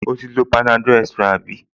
O ti lo panadol extra àbí?